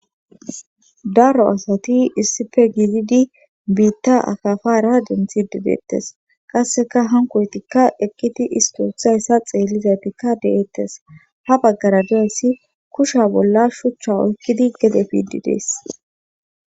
Daro asati issife gizidi biitta akafara denthi dedeettes qasseka hankoytikka ekkiti istoothayssa xeellizaytikka deettes ha baggara diyassi kusha bolla shuchcha oykkidi gede efiidi dees.